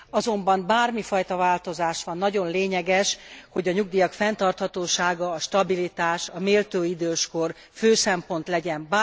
Azonban bármi fajta változás van, nagyon lényeges, hogy a nyugdíja fenntarthatósága, a stabilitás, a méltó időskor fő szempont legyen.